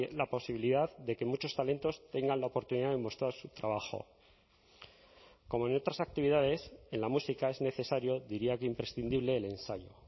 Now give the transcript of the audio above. la posibilidad de que muchos talentos tengan la oportunidad de mostrar su trabajo como en otras actividades en la música es necesario diría que imprescindible el ensayo